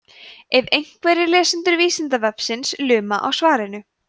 ef einhverjir lesendur vísindavefsins luma á svarinu